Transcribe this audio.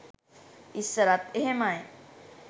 ඉස්සරත් එහෙමයි